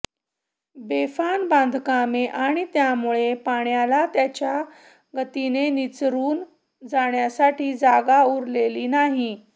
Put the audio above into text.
बेफाम बांधकामे आणि त्यामुळे पाण्याला त्याच्या गतीने निचरून जाण्यासाठी जागा उरलेली नाही